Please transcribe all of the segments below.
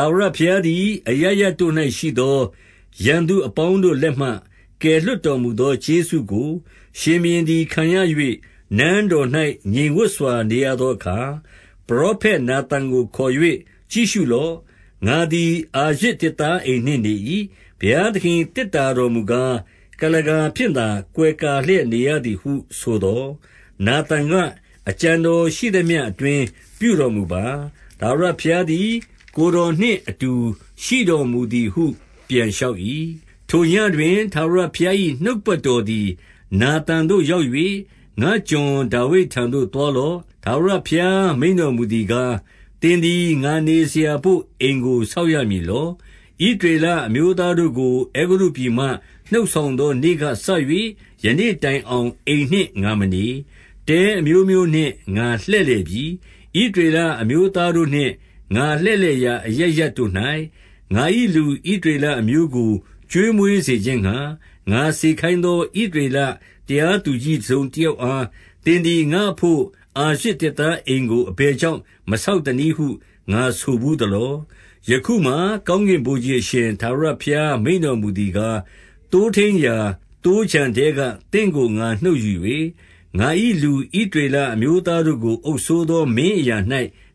ာဝရဘုရားသည် အရပ်ရပ်တို့၌ရှိသော ရန်သူအပေါင်းတို့လက်မှ ကယ်လွှတ်တော်မူသော ကျေးဇူးကို ရှင်ဘုရင်သည် ခံရ၍၊ နန်းတော်၌ငြိမ်ဝပ်စွာ နေရသောအခါ။ 2 ပရောဖက်နာသန်ကို ခေါ်၍၊ ကြည့်ရှုလော့။ ငါသည် အာရဇ်သစ်သားအိမ်နှင့်နေ၏။ ဘုရားသခင်၏ သေတ္တာတော်မူကား၊ ကုလားကာဖြင့်သာ ကွယ်ကာလျက် နေရသည်ဟုဆိုသော်၊ 3 နာသန်က၊ အကြံတော်ရှိသမျှ အတွင်းပြုတော် မူပါ။ ထာဝရဘုရားသည် ကိုယ်တော်နှင့် အတူရှိတော်မူ သည်ဟု ပြန်လျှောက်၏။ 4 ထိုညဉ့်တွင် ထာဝရဘုရား၏ နှုတ်ကပတ်တော် သည် နာသန်သို့ ရောက်၍၊ 5 ငါ့ကျွန်ဒါဝိဒ်ထံသို့ သွားလော့။ ထာဝရဘုရား မိန့်တော်မူသည်ကား၊ သင်သည် ငါနေစရာဘို့ အိမ်ကို ဆောက်ရမည်လော။ 6 ဣသရေလအမျိုးသားတို့ကို အဲဂုတ္တုပြည်မှ နှုတ်ဆောင်သောနေ့ကစ၍ယနေ့တိုင်အောင် အိမ်နှင့်ငါ မနေ။ တဲအမျိုးမျိုးနှင့်ငါလှည့်လည်ပြီ။ 7 ဣသရေလအမျိုးသားတို့နှင့် ငါလှည့်လည်ရာ အရပ်ရပ်တို့၌၊ ငါ၏လူဣသရေလအမျိုးကို ကျွေးမွေးစေ ခြင်းငှါ၊ ငါစေခိုင်းသော ဣသရေလတရားသူကြီး တစုံတယောက်အား၊ သင်သည် ငါ့အဘို့အာရဇ် သစ်သားအိမ် ကို အဘယ်ကြောင့် မဆောက်သနည်းဟု ငါဆိုဘူးသလော။ 8 ယခုမှာ ကောင်းကင်ဗိုလ်ခြေအရှင် ထာဝရဘုရား မိန့်တော်မူသည်ကား၊ သိုးထိန်းရာသိုးခြံထဲက သင့်ကိုငါနှုတ်ယူ၍၊ ငါ၏လူဣသရေလအမျိုးသားတို့ကို အုပ်စိုးသောမင်းအရာ၌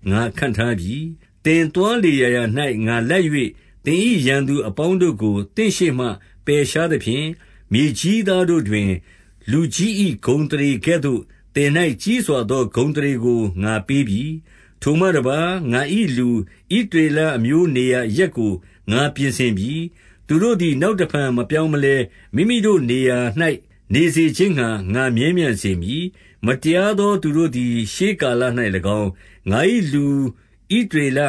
ငါခန့်ထားပြီ။ 9 သင်သွားလေရာရာ၌ ငါလိုက်၍သင်၏ ရန်သူအပေါင်းတို့ကို သင့်ရှေ့မှ ပယ်ရှားသဖြင့်၊ မြေကြီးသား တို့တွင် လူကြီး၏ဂုဏ်အသရေကဲ့သို့ သင်၌ကြီးစွာသော ဂုဏ်အသရေကို ငါပေးပြီ။ 10 ထိုမှတပါး ငါ၏လူ ဣသရေလအမျိုးနေရာ အရပ်ကို ငါပြင်ဆင်ပြီ။ သူတို့သည် နောက်တဖန် မပြောင်းမလဲ မိမိတို့နေရာ၌ နေစေခြင်းငှါ ငါမြဲမြံစေမည်။ မတရားသောသူတို့သည် ရှေးကာလ၌၎င်း၊ 11 ငါ၏လူဣသရေလ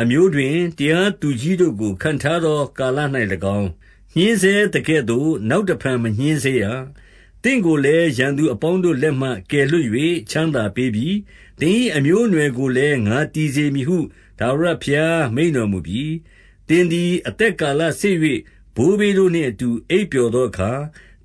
အမျိုးတွင် တရားသူကြီး တို့ကို ခန့်ထားသောကာလ၌၎င်း၊ ညှဉ်းဆဲသကဲ့သို့ နောက် တဖန်မညှဉ်းဆဲရ။ သင့်ကိုလည်း ရန်သူအပေါင်းတို့ လက်မှ ကယ်လွှတ်၍ ချမ်းသာပေးပြီ။ သင်၏အမျိုး အနွယ်ကိုလည်း ငါတည်စေမည်ဟု ထာဝရဘုရား မိန့်တော်မူပြီ။ 12 သင်သည် အသက်ကာလစေ့၍ ဘိုးဘေးတို့နှင့်အတူ အိပ်ပျော်သောအခါ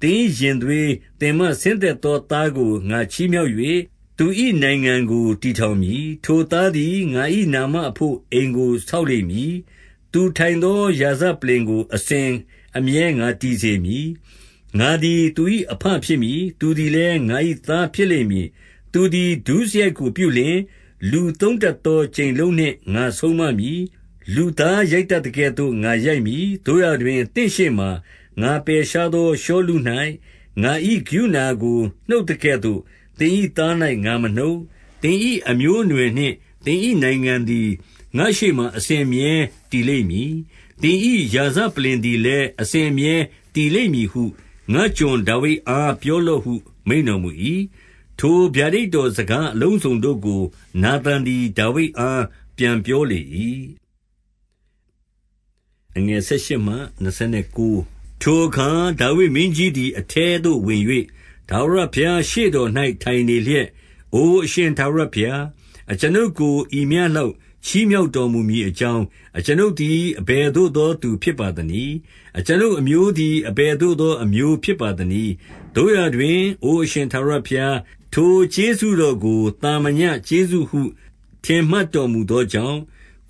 သင်၏ရင်သွေး၊ သင်မှ ဆင်းသက်သော သားကိုငါချီးမြှောက်၍ သူ၏နိုင်ငံကို တည်ထောင်မည်။ 13 ထိုသားသည် ငါ၏နာမအဘို့ အိမ်ကို ဆောက်လိမ့်မည်။ သူထိုင်သော ရာဇပလ္လင်ကို အစဉ်အမြဲ ငါတည်စေမည်။ 14 ငါသည် သူ၏အဘဖြစ်မည်။ သူသည်လည်း ငါ၏သားဖြစ်လိမ့်မည်။ သူသည် ဒုစရိုက်ကိုပြုလျှင် လူသုံးတတ်သော ကြိမ်လုံးနှင့် ငါဆုံးမမည်။ 15 သို့ရာတွင် သင့်ရှေ့မှာ ငါပယ်ရှားသော ရှောလု၌ ငါ၏ကရုဏာကို နှုတ်သကဲ့သို့ သင်၏သား၌ ငါမနှုတ်။ 16 သင်၏အမျိုးအနွယ်နှင့်၊ သင်၏နိုင်ငံသည် ငါ့ရှေ့မှာ အစဉ်အမြဲတည်လိမ့်မည်။ သင်၏ရာဇပလ္လင် သည်လည်း အစဉ်အမြဲတည်လိမ့်မည်ဟု ငါ့ကျွန်ဒါဝိဒ်အား ပြောလော့ဟု မိန့်တော်မူ၏။ 17 ထိုဗျာဒိတ်တော်စကားအလုံးစုံတို့ကို နာသန် သည် ဒါဝိဒ်အား ပြန်ပြောလေ၏။ 18 ထိုအခါဒါဝိဒ်မင်းကြီးသည် အထဲသို့ဝင်၍ ထာဝရဘုရားရှေ့တော်၌ ထိုင်နေလျက်၊ အိုအရှင် ထာဝရဘုရား၊ အကျွန်ုပ်ကို ဤမျှလောက်ချီးမြှောက်တော် မူမည်အကြောင်း၊ အကျွန်ုပ်သည် အဘယ်သို့သော သူဖြစ်ပါသနည်း။ အကျွန်ုပ်အမျိုးသည် အဘယ်သို့သော အမျိုး ဖြစ်ပါသနည်း။ 19 သို့ရာတွင် အိုအရှင်ထာဝရဘုရား၊ ထိုကျေးဇူးတော်ကို သာမညကျေးဇူးဟု ထင်မှတ်တော်မူသော ကြောင့်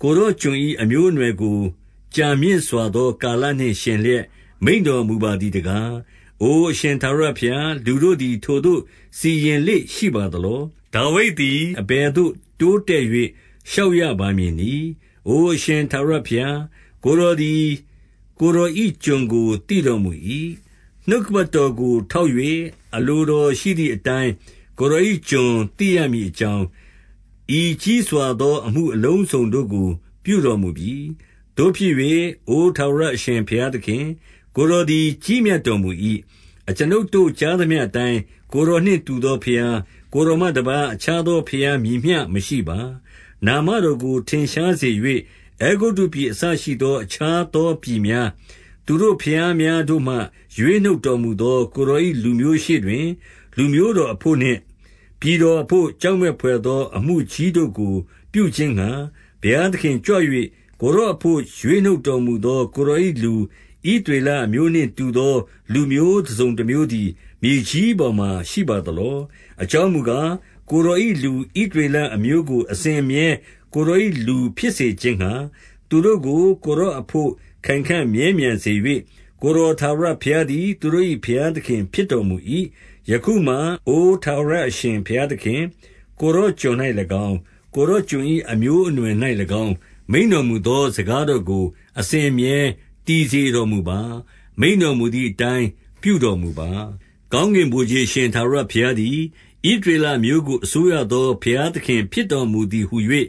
၊ ကိုယ်တော်ကျွန်၏ အမျိုးအနွယ်ကို ကြာမြင့်စွာသောကာလနှင့် ယှဉ်လျက်မိန့်တော်မူပါသည်တကား။ အိုအရှင်ထာဝရဘုရား၊ လူတို့သည် ထိုသို့စီရင်လေ့ရှိပါ သလော။ 20 ဒါဝိဒ်သည် အဘယ်သို့တိုးတက်၍ လျှောက်ရပါမည်နည်း။ အိုအရှင်ထာဝရဘုရား၊ ကိုယ်တော်သည် ကိုယ်တော်၏ ကျွန်ကို သိတော်မူ၏။ 21 နှုတ်ကပတ်တော်ကို ထောက်၍၊ အလိုတော်ရှိသည်အတိုင်း ကိုယ်တော်၏ ကျွန်သိရမည်အကြောင်း၊ ဤကြီးစွာသော အမှုအလုံးစုံတို့ ကိုပြုတော်မူပြီ။ 22 သို့ဖြစ်၍ အိုထာဝရအရှင် ဘုရားသခင်၊ ကိုယ်တော်သည် ကြီးမြတ်တော်မူ၏။ အကျွန်ုပ်တို့ ကြားသမျှအတိုင်း ကိုယ်တော်နှင့်တူသောဘုရား၊ ကိုယ်တော်မှတပါး အခြားသော ဘုရားမည်မျှမရှိပါ။ 23 နာမတော်ကို ထင်ရှားစေ၍ အဲဂုတ္တုပြည်အစ ရှိသော အခြားသောပြည်များ၊ သူတို့ဘုရားများတို့မှ ရွေးနှုတ်တော်မူသော ကိုယ်တော်၏ လူမျိုးရှေ့တွင် လူမျိုးတော်အဘို့နှင့်ပြည်တော်အဘို့ ကြောက်မက်ဘွယ် သော အမှုကြီးတို့ကို ပြုခြင်းငှါ၊ ဘုရားသခင်ကြွ၍ ကိုယ်တော်အဘို့ရွေး နှုတ်တော်မူသော ကိုယ်တော်၏လူ ဣသရေလအမျိုးနှင့်တူသော လူမျိုးတစုံတမျိုးသည် မြေကြီးပေါ်မှာ ရှိပါသလော။ 24 အကြောင်းမူကား၊ ကိုယ်တော်၏ လူဣသရေလအမျိုးကို အစဉ်အမြဲ ကိုယ်တော်၏လူ ဖြစ်စေခြင်းငှါ၊ သူတို့ကို ကိုယ်တော်အဘို့ ခိုင်ခံ့မြဲမြံစေ၍၊ ကိုယ်တော် ထာဝရဘုရားသည် သူတို့၏ဘုရားသခင်ဖြစ်တော်မူ၏။ 25 ယခုမှာအိုထာဝရအရှင်ဘုရားသခင်၊ ကိုယ်တော်ကျွန်၌၎င်း၊ ကိုယ်တော်ကျွန်၏အမျိုးအနွယ်၌၎င်း၊ မိန့်တော်မူသော စကားတော်ကို အစဉ်အမြဲ တည်စေတော်မူပါ။ မိန့်တော်မူသည်အတိုင်း ပြုတော်မူပါ။ 26 ကောင်းကင်ဗိုလ်ခြေအရှင် ထာဝရဘုရားသည် ဣသရေလအမျိုးကို အစိုးရသောဘုရားသခင် ဖြစ်တော်မူ သည်ဟူ၍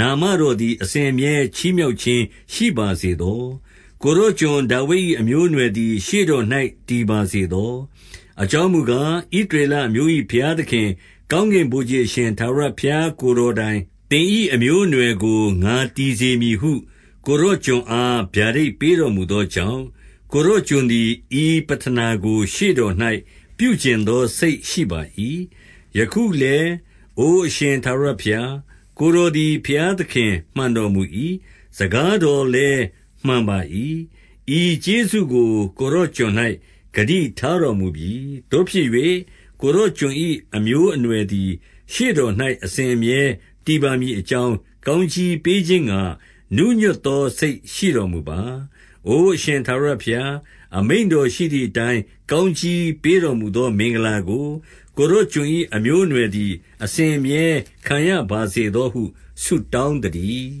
နာမတော်သည် အစဉ်အမြဲချီးမြှောက်ခြင်းရှိပါစေသော။ ကိုယ်တော်ကျွန်ဒါဝိဒ်၏ အမျိုးအနွယ် သည် ရှေ့တော်၌တည်ပါစေသော။ 27 အကြောင်းမူကား၊ ဣသရေလအမျိုး၏ ဘုရားသခင် ကောင်းကင်ဗိုလ်ခြေအရှင်ထာဝရဘုရား၊ ကိုယ်တော်က၊ သင်၏အမျိုးအနွယ်ကို ငါတည်စေမည်ဟု ကိုယ်တော်ကျွန်အား ဗျာဒိတ်ပေးတော်မူသောကြောင့်၊ ကိုယ်တော်ကျွန်သည် ဤပဌနာကို ရှေ့တော်၌ ပြုချင် သောစိတ်ရှိပါ၏။ 28 ယခုလည်းအိုအရှင်ထာဝရဘုရား၊ ကိုယ်တော်သည် ဘုရားသခင် မှန်တော်မူ၏။ စကားတော်လည်း မှန်ပါ၏။ ဤကျေးဇူးကိုကိုယ်တော်ကျွန်၌ ဂတိထားတော်မူပြီ။ 29 သို့ဖြစ်၍ ကိုယ်တော်ကျွန်၏အမျိုးအနွယ်သည် ရှေ့တော်၌ အစဉ်အမြဲတည်ပါမည်အကြောင်း၊ ကောင်း ကြီးပေးခြင်းငှါ နူးညွတ်သောစိတ်ရှိတော်မူပါ။ အိုအရှင် ထာဝရဘုရား၊အမိန့်တော်ရှိသည်အတိုင်းကောင်းကြီးပေး တော်မူသောမင်္ဂလာကို၊ ကိုယ်တော်ကျွန်၏အမျိုးအနွယ်သည် အစဉ်အမြဲခံရပါစေသောဟု ဆုတောင်းသတည်း။